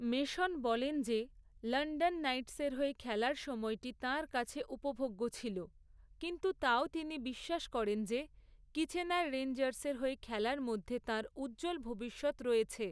Mason বলেন যে, London নাইটসের হয়ে খেলার সময়টি তাঁর কাছে উপভোগ্য ছিল, কিন্তু তাও তিনি বিশ্বাস করেন যে, কিচেনার রেঞ্জার্সের হয়ে খেলার মধ্যে তাঁর উজ্জ্বল ভবিষ্যৎ রয়েছে।